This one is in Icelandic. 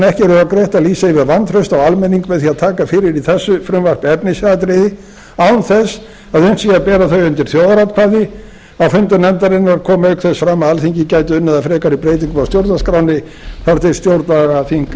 ekki rökrétt að lýsa yfir vantrausti á almenning með því að taka fyrir í þessu frumvarpi efnisatriði án þess að unnt sé að bera þau undir þjóðaratkvæði á fundum nefndarinnar kom auk þess fram að alþingi gæti unnið að frekari breytingum á stjórnarskránni þar til stjórnlagaþing